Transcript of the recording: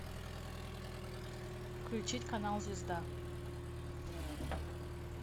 включить канал звезда